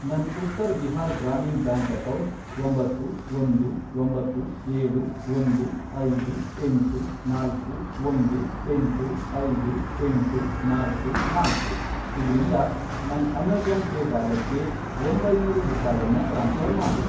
ನನ್ Uttar Bihar Gramin bank account, ಒಂಬತ್ತು, ಒಂದು, ಒಂಬತ್ತು, ಏಳು, ಒಂದು, ಐದು, ಎಂಟು, ನಾಲ್ಕು, ಒಂದು, ಎಂಟು, ಐದು, ಎಂಟು, ನಾಲ್ಕು, ನಾಲ್ಕು, ಇದ್ರಿಂದ ನನ್ ಅಮೇಜಾ಼ನ್ ಪೇ ವ್ಯಾಲೆಟ್ಗೆ ಒಂಬೈನೂರು ರೂಪಾಯನ್ನ ಟ್ರಾನ್ಸ್ಫ಼ರ್ ಮಾಡು